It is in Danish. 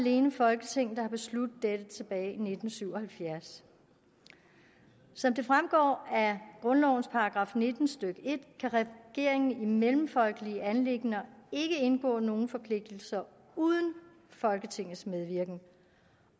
alene folketinget der besluttede dette tilbage i nitten syv og halvfjerds som det fremgår af grundlovens § nitten stykke en kan regeringen i mellemfolkelige anliggender ikke indgå nogen forpligtelser uden folketingets medvirken